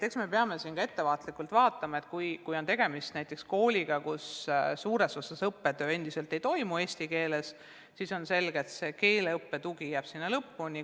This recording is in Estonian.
Eks me peame ka vaatama, et kui on tegemist kooliga, kus õppetöö endiselt suures osas ei toimu eesti keeles, siis on selge, et see keeleõppe tugi jääb sinna lõppu.